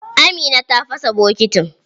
Amina ta fasa bokitin.